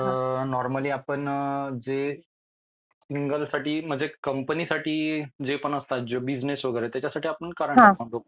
Normally आपण जे single साठी म्हणजे कंपनीसाठी जे पण असतात बिजनेस वगैरे त्याचसाठी आपण करंट अकाउंट ओपन करत असतो.